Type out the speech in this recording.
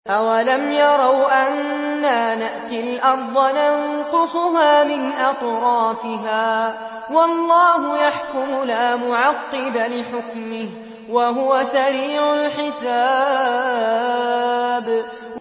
أَوَلَمْ يَرَوْا أَنَّا نَأْتِي الْأَرْضَ نَنقُصُهَا مِنْ أَطْرَافِهَا ۚ وَاللَّهُ يَحْكُمُ لَا مُعَقِّبَ لِحُكْمِهِ ۚ وَهُوَ سَرِيعُ الْحِسَابِ